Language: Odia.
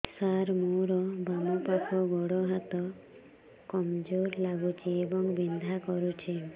ସାର ମୋର ବାମ ପାଖ ଗୋଡ ହାତ କମଜୁର ଲାଗୁଛି ଏବଂ ବିନ୍ଧା କରୁଛି